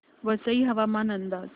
वसई हवामान अंदाज